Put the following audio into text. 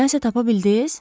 Nəsə tapa bildiz?